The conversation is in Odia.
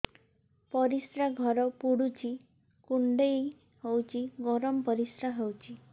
ପରିସ୍ରା ଘର ପୁଡୁଚି କୁଣ୍ଡେଇ ହଉଚି ଗରମ ପରିସ୍ରା ହଉଚି